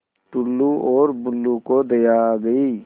टुल्लु और बुल्लु को दया आ गई